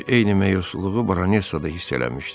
Görünür eyni məyusluğu Baronesa da hiss eləmişdi.